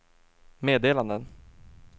meddelanden